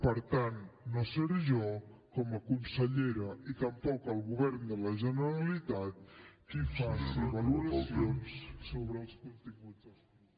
per tant no seré jo com a consellera ni tampoc el govern de la generalitat qui faci valoracions sobre els continguts dels mitjans